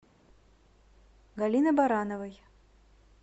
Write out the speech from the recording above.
галины барановой